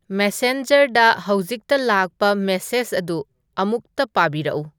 ꯃꯦꯁꯦꯟꯖꯔꯗ ꯍꯧꯖꯤꯛꯇ ꯂꯥꯛꯄ ꯃꯦꯁꯦꯖ ꯑꯗꯨ ꯑꯃꯨꯛꯇ ꯄꯥꯕꯤꯔꯛꯎ